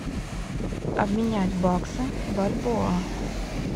обменять баксы бальбоа